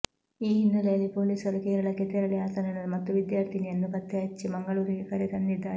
ಈ ಹಿನ್ನೆಲೆಯಲ್ಲಿ ಪೊಲೀಸರು ಕೇರಳಕ್ಕೆ ತೆರಳಿ ಆತನನ್ನು ಮತ್ತು ವಿದ್ಯಾರ್ಥಿನಿಯನ್ನು ಪತ್ತೆ ಹಚ್ಚಿ ಮಂಗಳೂರಿಗೆ ಕರೆ ತಂದಿದ್ದಾರೆ